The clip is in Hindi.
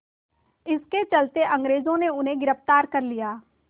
इसके चलते अंग्रेज़ों ने उन्हें गिरफ़्तार कर लिया